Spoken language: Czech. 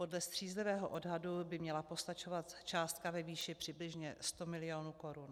Podle střízlivého odhadu by měla postačovat částka ve výši přibližně 100 mil. korun.